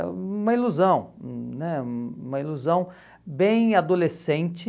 Uma ilusão, hum né uma ilusão bem adolescente.